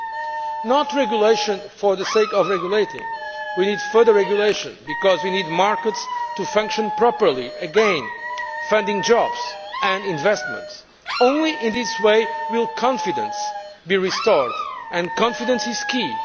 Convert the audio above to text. But not regulation for the sake of regulating we need further regulation because we need markets to function properly again, funding jobs and investments. Only in this way will confidence be restored, and confidence is key.